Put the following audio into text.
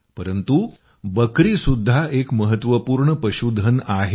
परंतु बकरी सुद्धा एक महत्वपूर्ण पशूधन आहे